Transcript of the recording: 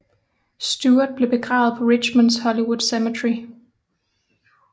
Stuart blev begravet på Richmonds Hollywood Cemetery